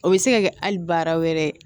O bɛ se ka kɛ hali baara wɛrɛ ye